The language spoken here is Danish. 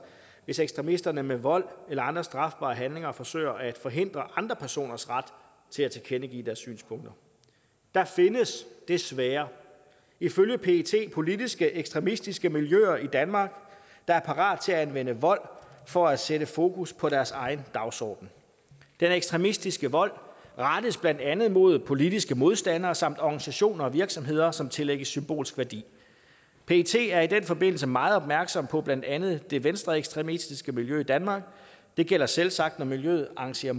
hvis ekstremisterne med vold eller andre strafbare handlinger forsøger at forhindre andre personers ret til at tilkendegive deres synspunkter der findes desværre ifølge pet politiske ekstremistiske miljøer i danmark der er parat til at anvende vold for at sætte fokus på deres egen dagsorden den ekstremistiske vold rettes blandt andet imod politiske modstandere samt organisationer og virksomheder som tillægges symbolsk værdi pet er i den forbindelse meget opmærksom på blandt andet det venstreekstremistiske miljø i danmark det gælder selvsagt når miljøet arrangerer